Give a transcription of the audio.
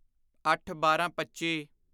ਅੱਠਬਾਰਾਂਪੱਚੀ